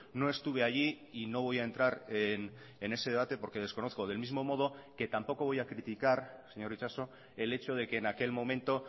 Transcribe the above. no estuve allí y no voy a entrar en ese debate porque desconozco del mismo modo que tampoco voy a criticar señor itxaso el hecho de que en aquel momento